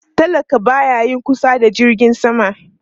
Talaka ba ya yin kusa da jirgin sama